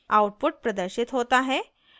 output प्रदर्शित होता है: